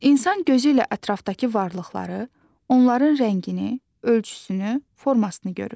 İnsan gözü ilə ətrafdakı varlıqları, onların rəngini, ölçüsünü, formasını görür.